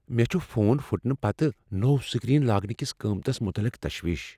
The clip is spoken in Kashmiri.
مےٚ چھُ فون پھٕٹنہٕ پتہٕ نوٚو سکرین لاگنکس قیمتس متعلق تشویش۔